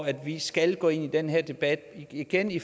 at vi skal gå ind i den her debat igen i